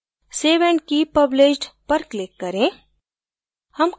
save and keep published पर click करें